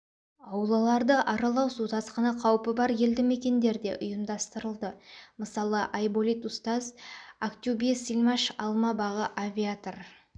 аулаларды аралау су тасқыны қаупі бар елді мекендерде ұйымдастырылды мысалы айболит устаз актюбсельмаш алма бағы авиатор